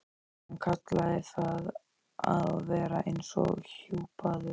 Hann kallaði það að vera eins og hjúpaður.